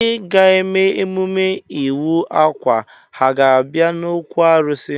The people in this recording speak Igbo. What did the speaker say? Ndị ga-eme emume ịwa akwa ha ga-abịa n'okwu arụsị?